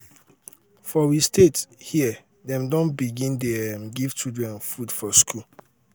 for um we state um here dem don begin dey um give children food for skool